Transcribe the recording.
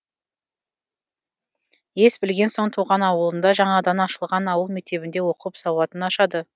ес білген соң туған ауылында жаңадан ашылған ауыл мектебінде оқып сауатын ашады